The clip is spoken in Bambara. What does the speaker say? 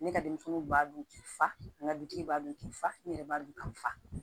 Ne ka denmisɛnninw b'a dun k'i fa n ka dutigi b'a dun k'i fa ne yɛrɛ b'a dun k'a fa